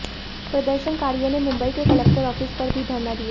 प्रदर्शनकारियों ने मुंबई में कलेक्टर ऑफिस पर भी धरना दिया